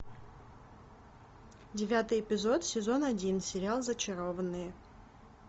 девятый эпизод сезон один сериал зачарованные